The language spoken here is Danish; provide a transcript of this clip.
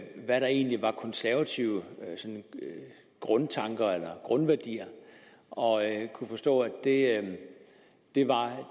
hvad der egentlig var konservative grundtanker eller grundværdier og jeg kunne forstå at det var